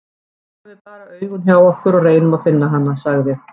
Nú höfum við bara augun hjá okkur og reynum að finna hana, sagði